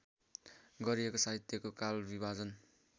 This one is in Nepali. गरिएको साहित्यको कालविभाजन